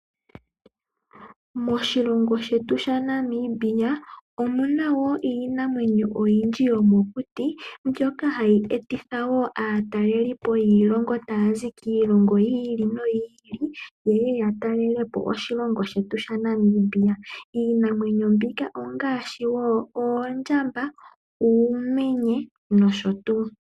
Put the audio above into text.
Moshilongo shetu shaNamibia omu na woo iinamwenyo oyindji yomokuti mbyoka hayi etitha woo aatalelipo taya zi kiilongo yi ili noyi ili yeye yatalelepo oshilongo shetu Namibia . Iinamwenyo mbika ongaashi oondjamba , uumenye nosho tuu .